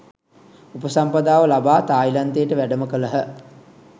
උපසම්පදාව ලබා තායිලන්තයට වැඩම කළහ.